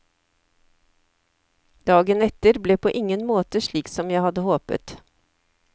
Dagen etter ble på ingen måte slik som jeg hadde håpet.